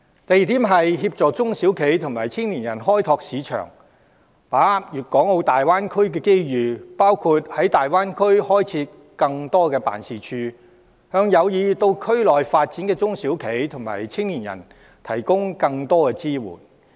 第二，積極協助中小企及青年人開拓市場及把握粵港澳大灣區機遇，包括在大灣區開設更多辦事處，以便向有意在內地發展的中小企及青年人提供更多支援。